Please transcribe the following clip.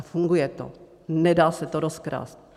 A funguje to, nedá se to rozkrást.